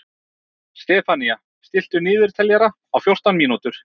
Stefanía, stilltu niðurteljara á fjórtán mínútur.